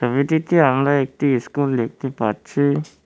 আমরা একটি ইস্কুল দেখতে পাচ্ছি।